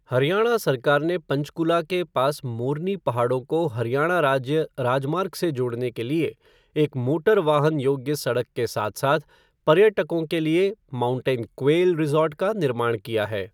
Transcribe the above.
हरियाणा सरकार ने पंचकूला के पास मोरनी पहाड़ों को हरियाणा राज्य राजमार्ग से जोड़ने के लिए एक मोटर वाहन योग्य सड़क के साथ साथ पर्यटकों के लिए माउंटेन क्वेल रिज़ॉर्ट का निर्माण किया है।